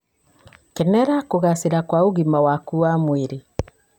kenerera kúgacíra kwa ũgima waku wa mwĩrĩ.